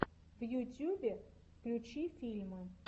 в ютьюбе включи фильмы